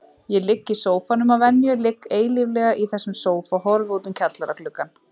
Ég ligg í sófanum að venju, ligg eilíflega í þessum sófa, horfi út um kjallaragluggann.